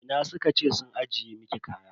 Ina suka ce sun ajiye miki kaya?